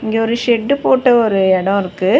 இங்க ஒரு செட்டு போட்டு ஒரு எடோ இருக்கு.